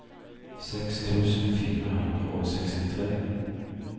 seks tusen fire hundre og sekstitre